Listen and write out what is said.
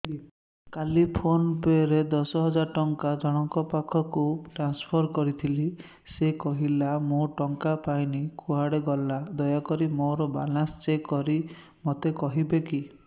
କାଲି PhonePe ରେ ଦଶ ହଜାର ଟଙ୍କା ଜଣକ ପାଖକୁ ଟ୍ରାନ୍ସଫର୍ କରିଥିଲି ସେ କହିଲା ମୁଁ ଟଙ୍କା ପାଇନି କୁଆଡେ ଗଲା ଦୟାକରି ମୋର ବାଲାନ୍ସ ଚେକ୍ କରି ମୋତେ କହିବେ କି